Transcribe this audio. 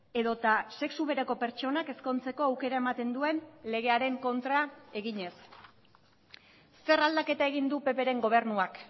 edota sexu bereko pertsonak ezkontzeko aukera ematen duen legearen kontra eginez zer aldaketa egin du ppren gobernuak